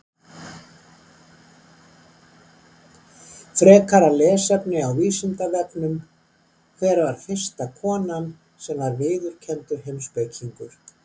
Frekara lesefni á Vísindavefnum: Hver var fyrsta konan sem var viðurkenndur heimspekingur?